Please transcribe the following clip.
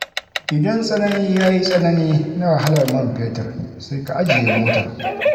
Idan tsanani ya yi tsanani, na wahalar man fetur, sai ka ajiye motar.